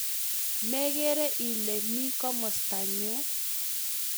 Mekere Ile mi komostanyu